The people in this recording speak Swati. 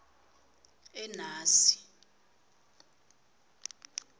enasi